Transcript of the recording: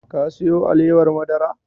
Ka siyo alewar madara?